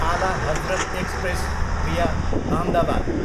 आला Hazrat express, via Ahmedabad